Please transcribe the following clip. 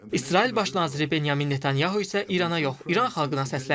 İsrail Baş naziri Benyamin Netanyahunu isə İrana yox, İran xalqına səsləndi.